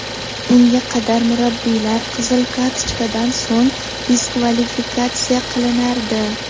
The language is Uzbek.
Bunga qadar murabbiylar qizil kartochkadan so‘ng diskvalifikatsiya qilinardi.